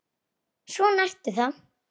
Svona ertu þá!